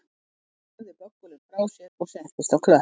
Hún lagði böggulinn frá sér og settist á klöpp